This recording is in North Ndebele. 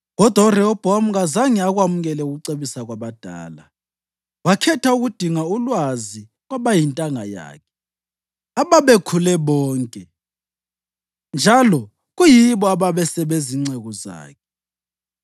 Kodwa uRehobhowami kazange akwamukele ukucebisa kwabadala wakhetha ukudinga ulwazi kwabayintanga yakhe ababekhule bonke njalo kuyibo abasebezinceku zakhe.